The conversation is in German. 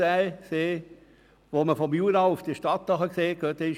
Gehen Sie doch mal hin und schauen vom Jura auf die Stadt hinunter.